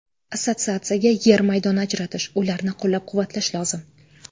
Assotsiatsiyaga yer maydoni ajratish, ularni qo‘llab-quvvatlash lozim.